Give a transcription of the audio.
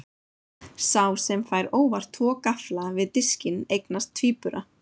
Sá sem fær óvart tvo gaffla við diskinn eignast tvíbura.